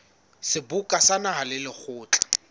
seboka sa naha le lekgotla